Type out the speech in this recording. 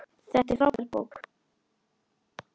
Þetta er frábær bók.